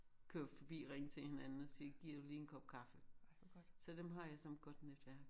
Køre forbi ringe til hinanden og sige giver du lige en kop kaffe. Så dem har jeg som et godt netværk